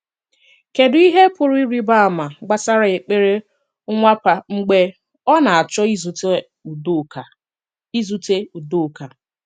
Kédù ihe pụrụ ịrị̀ba àma gbasara èkpere Nwàpà mgbe ọ na-achọ ìzùte Udoka? ìzùte Udoka?